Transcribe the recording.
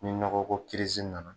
Ni nɔgɔ ko nana